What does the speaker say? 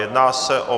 Jedná se o